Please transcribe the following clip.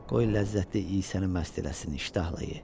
Qoy ləzzətdliyi səni məst eləsin iştahla ye.